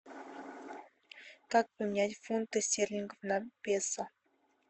как поменять фунты стерлингов на песо